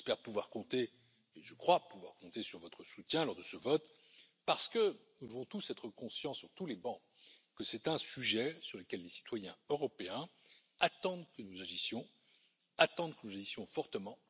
J'espère pouvoir compter, et je crois pouvoir compter sur votre soutien lors de ce vote, parce que nous devons tous être conscients, sur tous les bancs, que c'est un sujet sur lequel les citoyens européens attendent que nous agissions, attendent que nous agissions fortement.